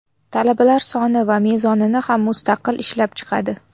Talabalar soni va mezonini ham mustaqil ishlab chiqadi.